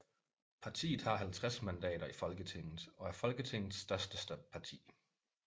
Partiet har 50 mandater i Folketinget og er Folketingets største parti